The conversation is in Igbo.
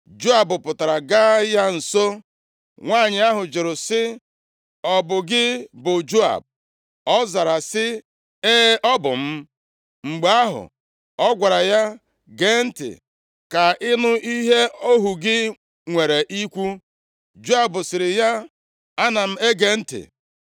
Joab pụtara gaa ya nso. Nwanyị ahụ jụrụ sị, “Ọ bụ gị bụ Joab?” Ọ zara sị, “E, ọ bụ m.” Mgbe ahụ, ọ gwara ya, “Gee ntị, ka i nụ ihe ohu gị nwere ikwu.” Joab sịrị ya, “Ana m ege ntị.”